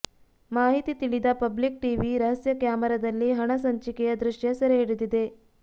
ಮಾಹಿತಿ ತಿಳಿದ public TV ರಹಸ್ಯ ಕ್ಯಾಮೆರಾದಲ್ಲಿ ಹಣ ಹಂಚಿಕೆಯ ದೃಶ್ಯ ಸೆರೆ ಹಿಡಿದಿದೆ